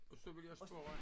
Og så vil jeg spørge